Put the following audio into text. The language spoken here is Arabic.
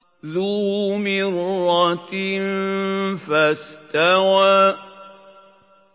ذُو مِرَّةٍ فَاسْتَوَىٰ